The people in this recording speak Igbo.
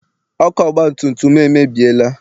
Ọkụ ọgbatumtum m emebiela.